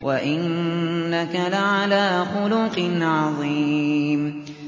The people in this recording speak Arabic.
وَإِنَّكَ لَعَلَىٰ خُلُقٍ عَظِيمٍ